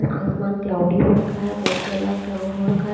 आसमान क्लाऊडी हो रखा है वाईट कलर का क्लाउड़ हो रखा है।